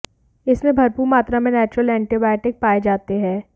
इसमें भरपूर मात्रा में नेचुरल एंटीबॉयोटिक पाएं जाते है